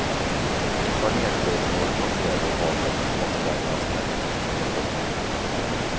Ett par nederbördsområden passerade och gav en påspädning av snötäcket. punkt